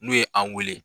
N'u ye an weele